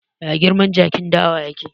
Ya girman jakin dawa yake?